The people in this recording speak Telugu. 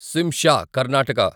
శింషా కర్ణాటక